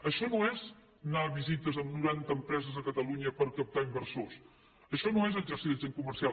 això no és anar a visites amb noranta empreses a catalunya per captar inversors això no és exercir d’agent comercial